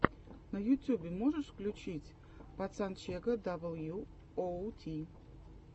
на ютюбе можешь включить пацанчега дабл ю оу ти